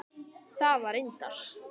Það var reyndar